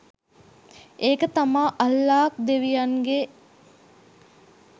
ඒක තමා අල්ලාහ් දෙවියන්ගේ